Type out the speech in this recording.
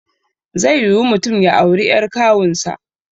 Zai yiwu mutum ya auri ƴar kawun sa